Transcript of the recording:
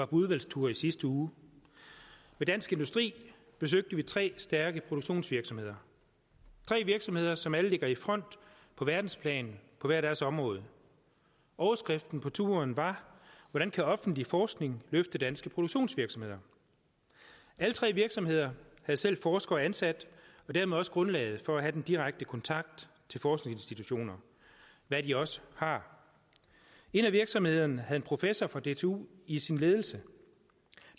på udvalgstur i sidste uge med dansk industri besøgte vi tre stærke produktionsvirksomheder tre virksomheder som alle ligger i front på verdensplan på hver deres område overskriften på turen var hvordan kan offentlig forskning løfte danske produktionsvirksomheder alle tre virksomheder har selv forskere ansat og dermed også grundlaget for at have den direkte kontakt til forskningsinstitutioner hvad de også har en af virksomhederne havde en professor fra dtu i sin ledelse